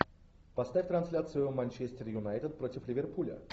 поставь трансляцию манчестер юнайтед против ливерпуля